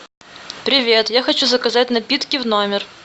привет я хочу заказать напитки в номер